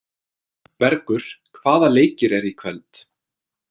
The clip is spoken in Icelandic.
Bergur, hvaða leikir eru í kvöld?